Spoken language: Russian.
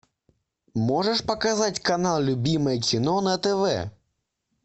можешь показать канал любимое кино на тв